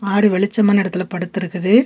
ஆடு வெளிச்சமான இடத்துல படுத்து இருக்குது.